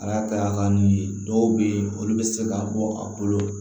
A y'a ka n'u ye dɔw bɛ yen olu bɛ se ka bɔ a bolo